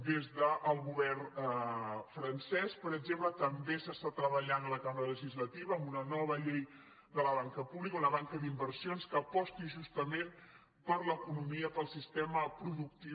des del govern francès per exemple també s’està treballant en la cambra legislativa en una nova llei de la banca pública una banca d’inversions que aposti justament per l’economia pel sistema productiu